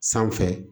Sanfɛ